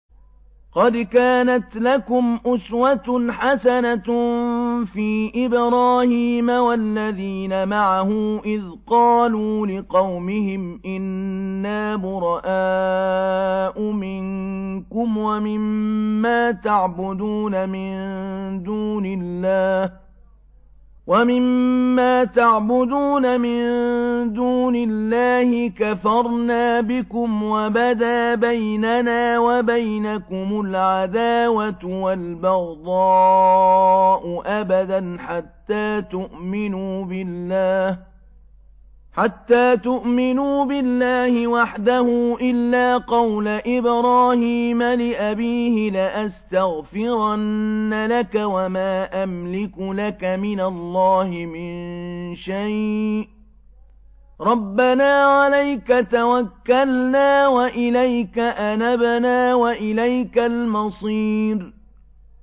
قَدْ كَانَتْ لَكُمْ أُسْوَةٌ حَسَنَةٌ فِي إِبْرَاهِيمَ وَالَّذِينَ مَعَهُ إِذْ قَالُوا لِقَوْمِهِمْ إِنَّا بُرَآءُ مِنكُمْ وَمِمَّا تَعْبُدُونَ مِن دُونِ اللَّهِ كَفَرْنَا بِكُمْ وَبَدَا بَيْنَنَا وَبَيْنَكُمُ الْعَدَاوَةُ وَالْبَغْضَاءُ أَبَدًا حَتَّىٰ تُؤْمِنُوا بِاللَّهِ وَحْدَهُ إِلَّا قَوْلَ إِبْرَاهِيمَ لِأَبِيهِ لَأَسْتَغْفِرَنَّ لَكَ وَمَا أَمْلِكُ لَكَ مِنَ اللَّهِ مِن شَيْءٍ ۖ رَّبَّنَا عَلَيْكَ تَوَكَّلْنَا وَإِلَيْكَ أَنَبْنَا وَإِلَيْكَ الْمَصِيرُ